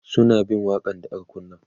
suna bin waƙa n da aka kunna